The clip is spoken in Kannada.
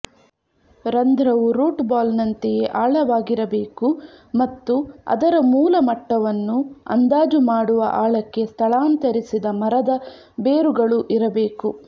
ರಂಧ್ರವು ರೂಟ್ ಬಾಲ್ನಂತೆಯೇ ಆಳವಾಗಿರಬೇಕು ಮತ್ತು ಅದರ ಮೂಲ ಮಟ್ಟವನ್ನು ಅಂದಾಜು ಮಾಡುವ ಆಳಕ್ಕೆ ಸ್ಥಳಾಂತರಿಸಿದ ಮರದ ಬೇರುಗಳು ಇರಬೇಕು